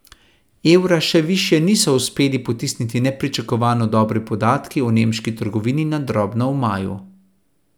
Evra še višje niso uspeli potisniti nepričakovano dobri podatki o nemški trgovini na drobno v maju.